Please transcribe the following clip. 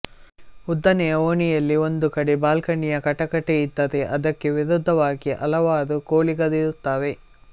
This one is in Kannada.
ಉದ್ದನೆಯ ಓಣಿಯಲ್ಲಿ ಒಂದು ಕಡೆ ಬಾಲ್ಕನಿಯ ಕಟಕಟೆ ಇದ್ದರೆ ಅದಕ್ಕೆ ವಿರುದ್ಧವಾಗಿ ಹಲವಾರು ಖೋಲಿಗಳಿರುತ್ತವೆ